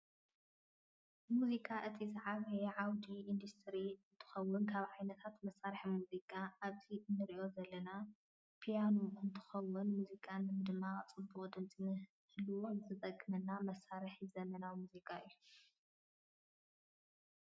ሙዚቃ እቲ ዝዓበየ ዓውዲ እንዳስትሪ እንትኮን ፣ካብ ዓይነታት መሳሪሒ ሙዚቃ ኣብዚኣ እንሪ ዘለና ፕያኖ እንትኮን ሙዚቃ ንምድማቅን ፅቡቅ ድምፂ ንህልዎ ዝጠቅመና መሳርሒ ዘመናዊ ሙዚቃ እዩ።